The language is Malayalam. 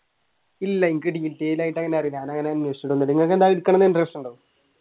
ഇല്ല എനിക്ക് ആയിട്ട് അങ്ങനെ detail അറിയില്ല ഞാൻ അങ്ങനെ